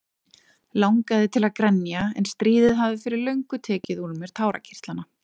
Langaði til að grenja en stríðið hafði fyrir löngu tekið úr mér tárakirtlana.